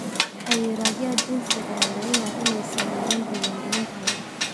Xayiraadaha jinsiga ayaa laga yaabaa inay saameeyaan diiwaangelinta haweenka.